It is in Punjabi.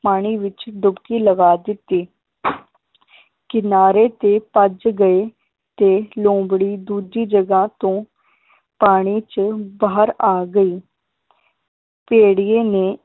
ਪਾਣੀ ਵਿਚ ਡੁੱਬਕੀ ਲਗਾ ਦਿੱਤੀ ਕਿਨਾਰੇ ਤੇ ਭੱਜ ਗਏ ਤੇ ਲੋਮੜੀ ਦੂਜੀ ਜਗ੍ਹਾ ਤੋਂ ਪਾਣੀ ਚ ਬਾਹਰ ਆ ਗਈ ਭੇੜੀਏ ਨੇ